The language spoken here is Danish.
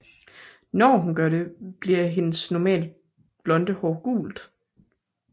Når hun gør det bliver hendes normalt blonde hår gult